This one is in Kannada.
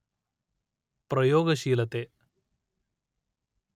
ಪ್ರಯೋಗಶೀಲತೆ